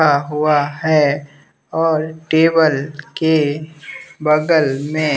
क्या हुआ है और टेबल के बगल में--